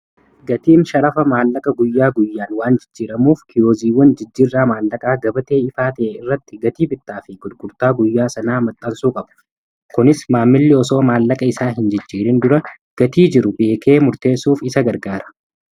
Gatiin sharafa maallaqa guyyaa guyyaan waan jijjiiramuuf kiyooziiwwan jijjirraa maallaqaa gabatee ifaa ta'e irratti gatii bittaa fi gulgurtaa guyyaa sanaa maxarsuu qabu. Kunis maammilli osoo maallaqa isaa hin jijjiirin dura gatii jiru beekee murteessuuf isa gargaara.